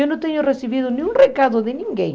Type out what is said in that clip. Eu não tenho recebido nenhum recado de ninguém.